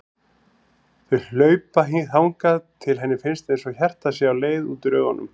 Þau hlaupa þangað til henni finnst einsog hjartað sé á leið út úr augunum.